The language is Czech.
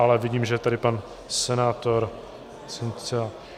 Ale vidím, že je tady pan senátor Cienciala.